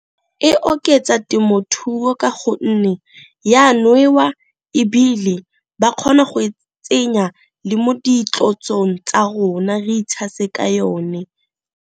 E oketsa temothuo ka gonne ya nwewa, ebile ba kgona go e tsenya le mo ditlotsong tsa rona re itshase ka yone.